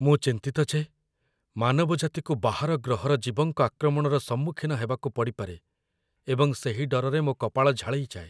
ମୁଁ ଚିନ୍ତିତ ଯେ ମାନବଜାତିକୁ ବାହାର ଗ୍ରହର ଜୀବଙ୍କ ଆକ୍ରମଣର ସମ୍ମୁଖୀନ ହେବାକୁ ପଡ଼ିପାରେ ଏବଂ ସେହି ଡରରେ ମୋ କପାଳ ଝାଳେଇ ଯାଏ।